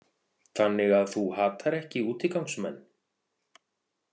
Þannig að þú hatar ekki útigangsmenn?